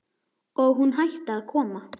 Og hún hætti að koma.